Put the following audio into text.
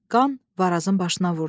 Qan Varazın başına vurdu.